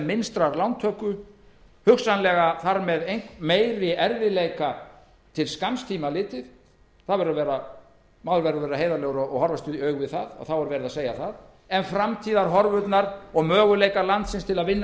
minnstrar lántöku hugsanlega þar með meiri erfiðleika til skamms tíma litið maður verður að vera heiðarlegur og horfast í augu við að þá er verið að segja það en framtíðarhorfurnar og möguleikar landsins til að vinna